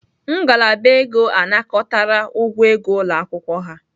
Ngalaba ego anakọtara ụgwọ ego ụlọ akwụkwọ ha